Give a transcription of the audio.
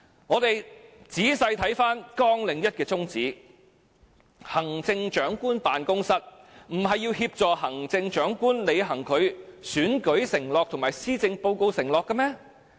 我們仔細看看綱領1的宗旨，行政長官辦公室不是要協助行政長官履行其選舉承諾及施政報告承諾的嗎？